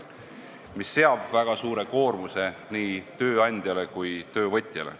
See seab väga suure koormuse nii tööandjale kui ka töövõtjale.